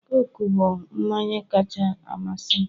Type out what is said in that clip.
Coke bụ mmanyi kacha amasị m